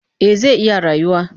Eh zai iya rayuwa